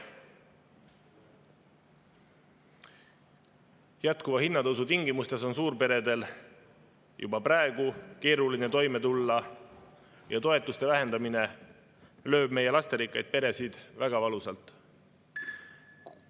Jätkuva hinnatõusu tingimustes on suurperedel juba praegu keeruline toime tulla ja toetuste vähendamine lööb meie lasterikkaid peresid väga valusalt.